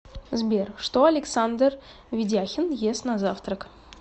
сбер что александр ведяхин ест на завтрак